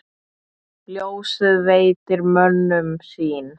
Ljósið veitir mönnum sýn.